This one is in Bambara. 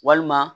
Walima